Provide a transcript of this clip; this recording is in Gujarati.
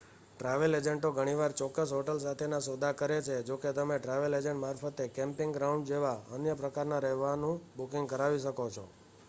ટ્રાવેલ એજન્ટો ઘણીવાર ચોક્કસ હોટલ સાથેના સોદા કરે છે જોકે તમે ટ્રાવેલ એજન્ટ મારફતે કેમ્પિંગ ગ્રાઉન્ડ જેવા અન્ય પ્રકારના રહેવાનું બુકિંગ કરાવી શકો છો